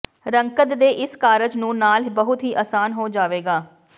ਰੰਗਤ ਦੇ ਇਸ ਕਾਰਜ ਨੂੰ ਨਾਲ ਬਹੁਤ ਹੀ ਆਸਾਨ ਹੋ ਜਾਵੇਗਾ